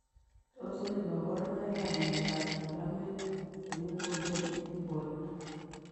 Tos nee kabarunoik ap miondop talamik chemuguleen eng portoo.